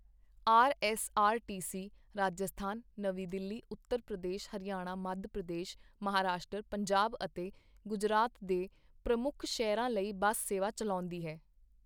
RSRTC. Rajasthan, ਨਵੀਂ ਦਿੱਲੀ, ਉੱਤਰ ਪ੍ਰਦੇਸ਼, ਹਰਿਆਣਾ, ਮੱਧ ਪ੍ਰਦੇਸ਼, ਮਹਾਰਾਸ਼ਟਰ, ਪੰਜਾਬ ਅਤੇ ਗੁਜਰਾਤ ਦੇ ਪ੍ਰਮੁੱਖ ਸ਼ਹਿਰਾਂ ਲਈ ਬੱਸ ਸੇਵਾ ਚਲਾਉਂਦੀ ਹੈ।